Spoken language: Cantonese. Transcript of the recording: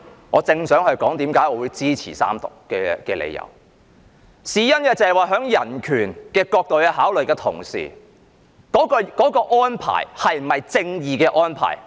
我正想提出我支持三讀的理由，因為從人權角度作考慮的同時，也要考慮有關安排究竟是否合乎正義。